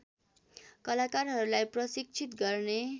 कलाकारहरूलाई प्रशिक्षित गर्ने